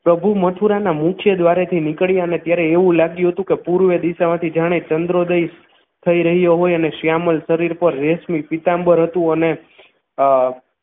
પ્રભુ મથુરાના મુખ્ય દ્વારેથી નીકળી અને ત્યારે એવું લાગ્યું હતું કે પૂર્વ દિશામાંથી જાણે ચંદ્રોદય થઈ રહ્યો હોય અને શ્યામલ શરીર પર રેશમી પીતાંબર હતું અને